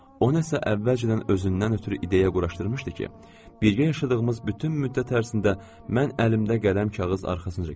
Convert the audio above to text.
O nəsə əvvəlcədən özündən ötrü ideya quraşdırmışdı ki, birgə yaşadığımız bütün müddət ərzində mən əlimdə qələm kağız arxasınca kəsəcəm.